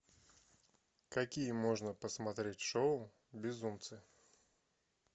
какие можно посмотреть шоу безумцы